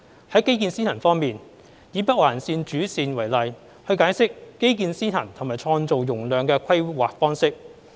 在基建先行方面，以北環線主線為例來解釋基建先行及創造容量的規劃方式。